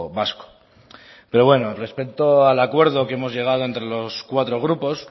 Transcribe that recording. vasco pero bueno respecto al acuerdo que hemos llegado entre los cuatro grupos